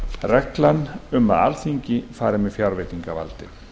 reglan um að alþingi vari með fjárveitingavaldið